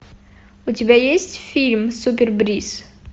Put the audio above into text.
у тебя есть фильм супербриз